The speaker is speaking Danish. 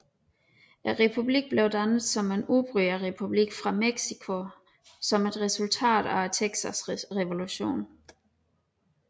Republikken blev dannet som en udbryderrepublik fra Mexico som et resultat af Texasrevolutionen